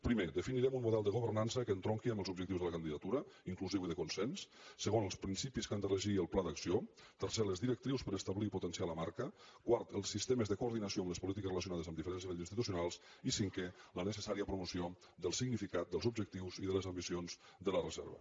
primer defi·nirem un model de governança que entronqui amb els objectius de la candidatura inclusiu i de consens se·gon els principis que han de regir el pla d’acció tercer les directrius per establir i potenciar la marca quart els sistemes de coordinació amb les polítiques relacio·nades amb diferents nivells institucionals i cinquè la necessària promoció del significat dels objectius i de les ambicions de la reserva